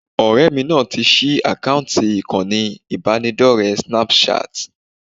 Ọ̀rẹ́ mi náà ti ṣí àkáǹtì ìkànnì ìbánidọ́rẹ̀ẹ́ Snapchat